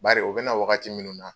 Bari o bɛna wagati minnu na